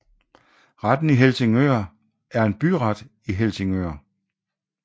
Retten i Helsingør er en byret i Helsingør